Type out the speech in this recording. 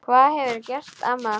Hvað hefurðu gert amma?